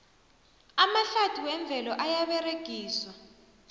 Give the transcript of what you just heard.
amahlathi wemvelo ayaberegiswa